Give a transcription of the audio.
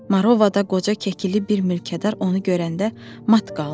Marovada qoca kekili bir mülkədar onu görəndə mat qaldı.